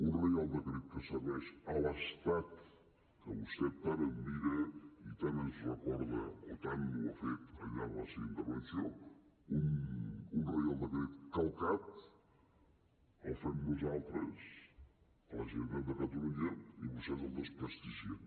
un reial decret que serveix a l’estat que vostè tant admira i tant ens recorda o tant ho ha fet al llarg de la seva intervenció un reial decret calcat el fem nosaltres a la generalitat de catalunya i vostès el desprestigien